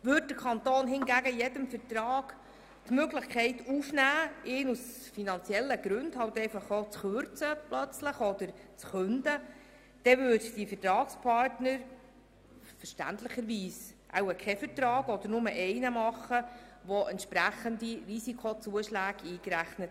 Würde der Kanton hingegen in jedem Vertrag die Möglichkeit aufnehmen, diesen aus finanziellen Gründen plötzlich zu kürzen oder ganz zu künden, dann würden die Vertragspartner verständlicherweise keinen Vertrag machen oder nur einen, der entsprechende Risikozuschläge einbezieht.